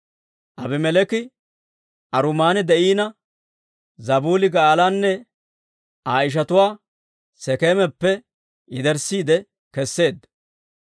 Aabimeleeki Aruuman de'ina, Zabuuli Ga'aalanne Aa ishatuwaa Sekeemappe yederssiide keseedda.